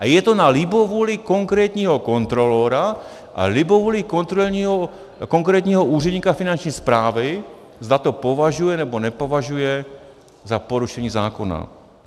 A je to na libovůli konkrétního kontrolora a libovůli konkrétního úředníka Finanční správy, zda to považuje, nebo nepovažuje za porušení zákona.